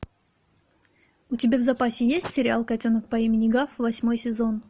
у тебя в запасе есть сериал котенок по имени гав восьмой сезон